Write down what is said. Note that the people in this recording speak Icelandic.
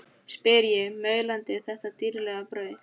spyr ég, maulandi þetta dýrlega brauð.